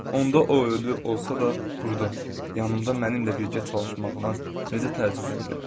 Onda o ölü olsa da, burda, yanımda mənimlə birgə çalışmağına necə təəccüblənmirəm.